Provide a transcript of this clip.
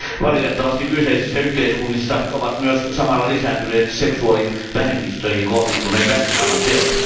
Valitettavasti kyseisissä yhteiskunnissa ovat myös samalla lisääntyneet seksuaalivähemmistöihin kohdistuneet väkivallanteot.